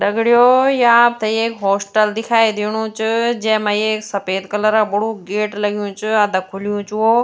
दग्ड़ियों ये आपथे एक हॉस्टल दिखाई दिणू च जैमा एक सपेद कलर क बड़ू गेट लग्युं च अददा खुल्युं च वो --